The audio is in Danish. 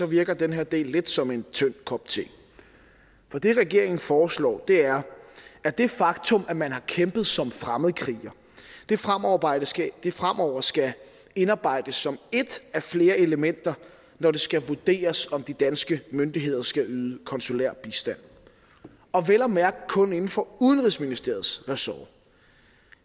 virker den her del lidt som en tynd kop te for det regeringen foreslår er at det faktum at man har kæmpet som fremmedkriger fremover skal indarbejdes som et af flere elementer når det skal vurderes om de danske myndigheder skal yde konsulær bistand og vel at mærke kun inden for udenrigsministeriets ressort